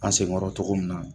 An senkɔrɔ cogo min na